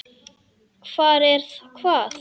Hvar er hvað?